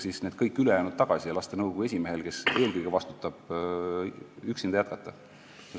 Kas kutsuda kõik ülejäänud tagasi ja lasta nõukogu esimehel, kes eelkõige vastutab, üksinda jätkata?